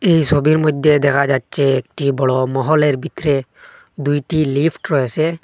এই সবির মইদ্যে দেকা যাচ্চে একটি বড় মহলের ভিতরে দুইটি লিফট রয়েসে।